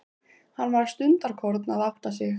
Hann var stundarkorn að átta sig.